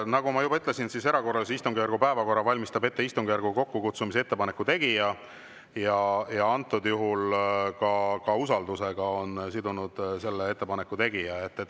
Nagu ma juba ütlesin, erakorralise istungjärgu päevakorra valmistab ette istungjärgu kokkukutsumise ettepaneku tegija, ja antud juhul ka usaldusega on sidunud selle ettepaneku tegija.